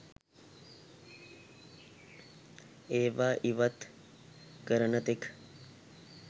ඒවා ඉවත් කරන තෙක්